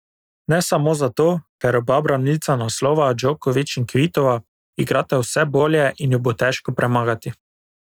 Ne samo zato, ker oba branilca naslova, Djokovič in Kvitova, igrata vse bolje in ju bo težko premagati.